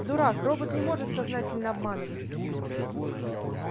дурак робот не может сознательно обманывать